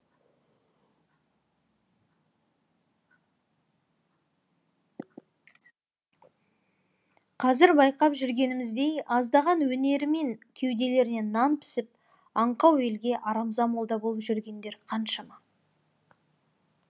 қазір байқап жүргеніміздей аздаған өнерімен кеуделеріне нан пісіп аңқау елге арамза молда болып жүргендер қаншама